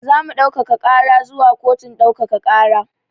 Zamu ɗaukaka ƙara zuwa kotun ɗaukaka ƙara